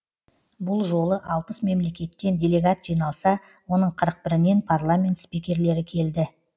бұл жолы алпыс мемлекеттен делегат жиналса оның қырық бірінен парламент спикерлері келді